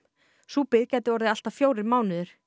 sú bið gæti orðið allt að fjórir mánuðir